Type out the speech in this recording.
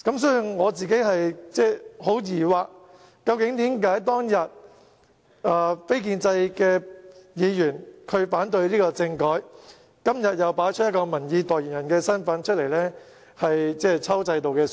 所以，我感到十分疑惑的是，為何當日非建制派議員反對政改，今天卻擺出民意代言人的姿態，抽制度的水？